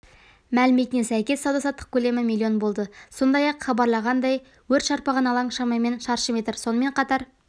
мәліметіне сәйкес сауда-саттық көлемі миллион болды сондай-ақ хабарланғандай өрт шарпыған алаң шамамен шаршы метр сонымен қатар